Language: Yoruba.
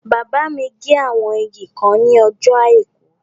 Bàbá mi gé àwọn igi kan ní ọjọ́ àìkú